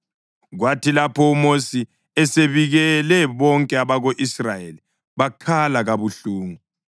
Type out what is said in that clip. Kwathi lapho uMosi esebikele bonke abako-Israyeli, bakhala kabuhlungu.